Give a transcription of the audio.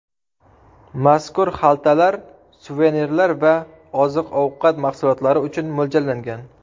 Mazkur xaltalar suvenirlar va oziq-ovqat mahsulotlari uchun mo‘ljallangan.